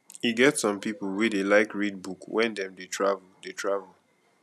e get some pipo wey dey like read book wen dem dey travel dey travel